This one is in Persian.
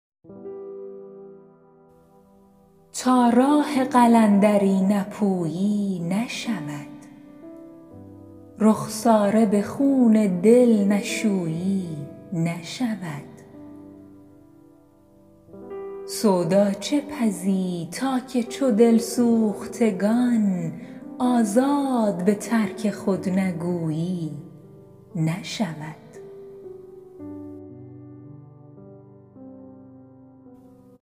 تا راه قلندری نپویی نشود رخساره به خون دل نشویی نشود سودا چه پزی تا که چو دل سوختگان آزاد به ترک خود نگویی نشود